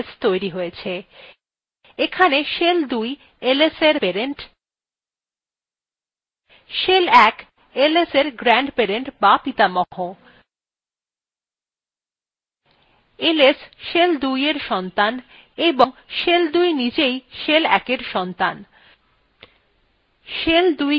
এখানে shell ২ lsএর parent shell ১ lsএর grandparent বা পিতামহ ls shell ২এর সন্তান এবং shell ২ নিজেই shell ১এর সন্তান